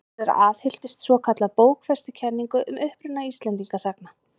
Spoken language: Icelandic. Sigurður aðhylltist svokallaða bókfestukenningu um uppruna Íslendinga sagna.